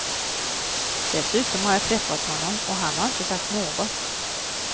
Dessutom har jag träffat honom och han har inte sagt något.